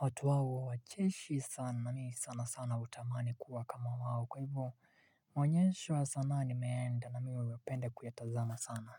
watu hao wacheshi sana, na mimi sana sana hutamani kuwa kama wao, kwa hivyo maonyesho ya sanaa nimeenda na mimi huwa nauyapenda kuyatazama sana.